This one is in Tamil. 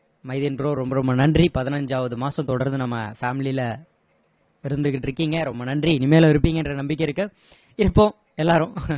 மைதீன் bro ரொம்ப ரொம்ப நன்றி பதினைஞ்சாவது மாசம் தொடர்ந்து நம்ம family ல இருந்துகிட்டு இருக்கீங்க ரொம்ப நன்றி இனிமேலும் இருப்பீங்கன்ற நம்பிக்கை இருக்கு இப்போ எல்லாரும்